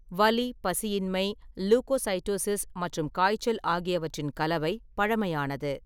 வலி, பசியின்மை, லுகோசைடோசிஸ் மற்றும் காய்ச்சல் ஆகியவற்றின் கலவை பழமையானது.